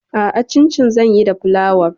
A'a, cincin zan yi da flawar.